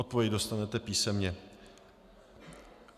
Odpověď dostanete písemně.